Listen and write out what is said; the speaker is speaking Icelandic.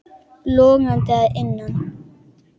Logandi að innan.